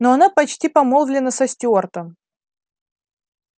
но она почти помолвлена со стюартом